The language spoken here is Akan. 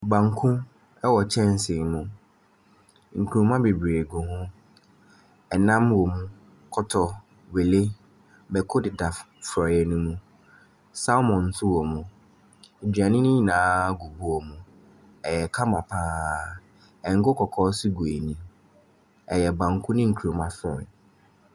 Banku wɔ kyɛnse mu. Nkuruma bebree gu ho. Nnam wom; kɔtɔ, wele, mmako deda f forɔeɛ no mu. Salmom nso wom. Aduane no nyinaa gu bowl mu. Ɛyɛ kama pa ara. Ngo kɔkɔɔ nso gu ani. Ɛyɛ banku ne nkuruma forɔeɛ.